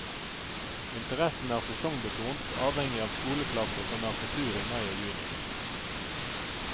Interessen er sesongbetont, avhengig av skoleklasser som er på tur i mai og juni.